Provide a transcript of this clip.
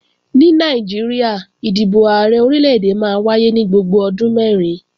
Ní Nàìjíríà, ìdìbò Ààrẹ Orílè-èdè máa ń wáyé ní gbogbo ọdún mẹ́rin